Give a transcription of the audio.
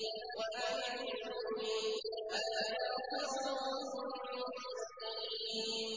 وَأَنِ اعْبُدُونِي ۚ هَٰذَا صِرَاطٌ مُّسْتَقِيمٌ